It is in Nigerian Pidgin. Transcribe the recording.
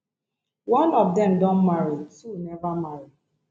one of dem don marry two neva marry